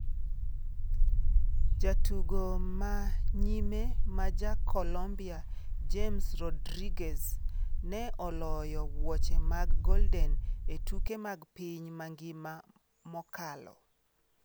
Jatugo ma nyime ma ja Colombia James Rodriguez ne oloyo wuoche mag golden e tuke mag piny mangima mokalo.